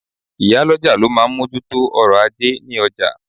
Ìyálọ́jà ló máa ń moju tó ọ̀rọ̀ ajé ní ọjà